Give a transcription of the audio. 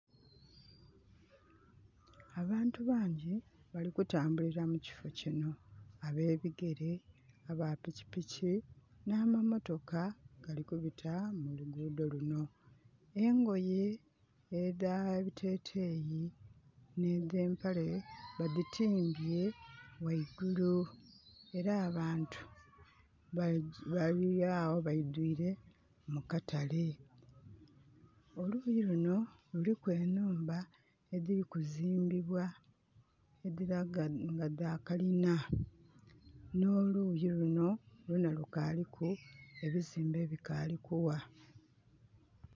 Abantu bangyi bali kutambulira mu kifo kino. Abebigere, aba pikipiki, nh'amamotoka gali kubita mu luguudho luno. Engoye edh'ebiteteeyi nhe edh'empale badhitimbye ghaigulu. Era abantu bali agho baidhwile mu katale. Oluuyi luno luliku enhumba edhili kuzimbibwa edhilaga nga dha kalina. N'oluuyi lunho lwonha lukaaliku ebiziimbe ebikaali kugha.